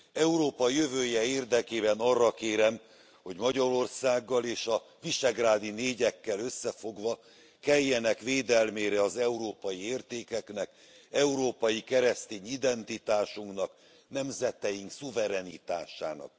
Európa jövője érdekében arra kérem, hogy Magyarországgal és a visegrádi négyekkel összefogva keljenek védelmére az európai értékeknek, európai keresztény identitásunknak, nemzeteink szuverenitásának.